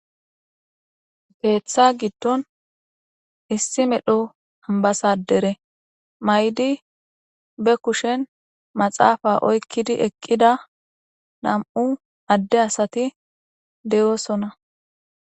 Keeththa giddon issi medho ambbasadere maayidi be kushen maxaafa oykidi eqqida nam77u adde asati beetosona.